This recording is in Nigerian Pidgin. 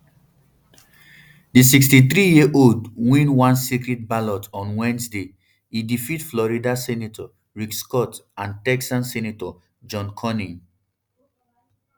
um di um sixty-threeyearold bin win one secret ballot on wednesday e defeat florida senator rick scott and texan senator john cornyn